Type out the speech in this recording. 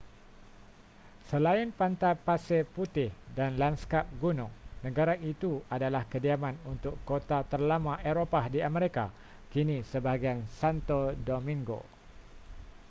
selain pantai pasir putih dan lanskap gunung negara itu adalah kediaman untuk kota terlama eropah di amerika kini sebahagian santo domingo